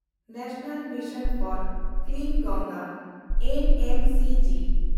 national mission for clean Ganga (N M C G)